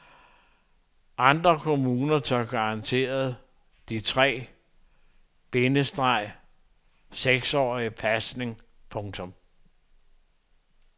Andre kommuner tør garantere de tre- bindestreg til seksårige pasning. punktum